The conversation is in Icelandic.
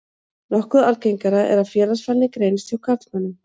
Nokkuð algengara er að félagsfælni greinist hjá karlmönnum.